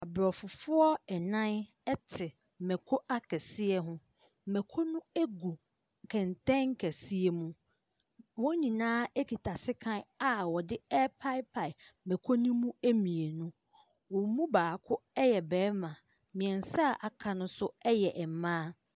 Aborɔfo nnan te mmako akɛseɛ ho. Mmako no gu kɛntɛn kɛseɛ mu. Wɔn nyinaa kita sekan a wɔde repaepae mmako no mu mmienu. Wɔn mu baako yɛ barima. Mmeɛnsa a wɔaka no nso yɛ mmaa.